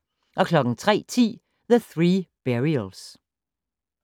03:10: The Three Burials